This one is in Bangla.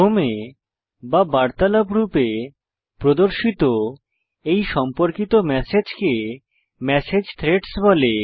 ক্রমে বা বার্তালাপ রূপে প্রদর্শিত এই সম্পর্কিত ম্যাসেজকে মেসেজ থ্রেডস বলে